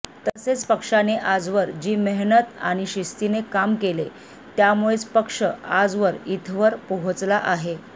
तसेच पक्षाने आजवर जी मेहनत आणि शिस्तीने काम केले त्यामुळेच पक्ष आजवर इथवर पोहचला आहे